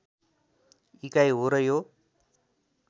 इकाइ हो र यो